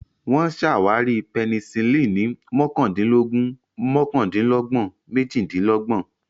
Wọ́n ṣàwárí Penicillin ní mọ́kàndínlógún mọ́kàndínlọ́gbọ̀n méjìdínlọ́gbọ̀n.